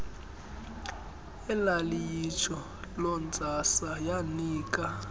elaliyitsho lontsasa yanika